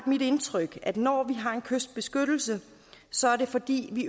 mit indtryk at det når vi har en kystbeskyttelse så er fordi vi